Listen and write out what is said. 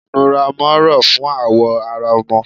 Inúrá ọmọ rọ fún awọ ará ọmọ